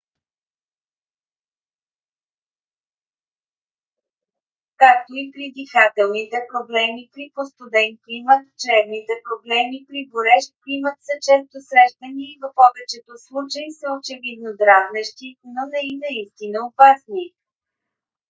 както и при дихателните проблеми при по - студен климат чревните проблеми при горещ климат са често срещани и в повечето случаи са очевидно дразнещи но не и наистина опасни